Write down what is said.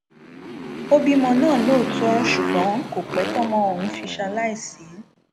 ó bímọ náà lóòótọ ṣùgbọn kò pẹ tọmọ ọhún fi ṣaláìsí